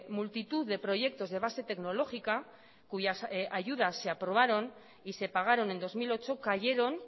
multitud de proyectos de base tecnológica cuyas ayudas se aprobaron y se pagaron en dos mil ocho cayeron